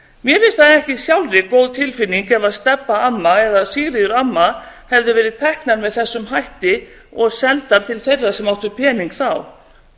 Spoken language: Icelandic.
mér finnst það ekki sjálfri góð tilfinning ef stebba amma eða sigríður amma hefðu verið teknar með þessum hætti og seldar til þeirra sem áttu pening þá